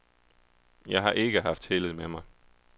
Jeg har ikke haft heldet med mig.